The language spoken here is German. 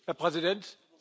Herr Präsident!